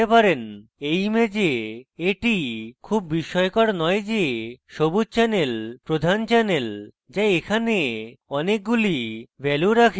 এই image এটি খুব বিস্ময়কর নয় যে সবুজ channel প্রধান channel যা এখানে অনেকগুলি ভ্যালু রাখে